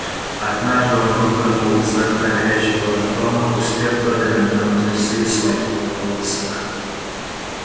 однажды он выпрыгнул из окна горящего дома успев только натянуть трусы и схватить руководство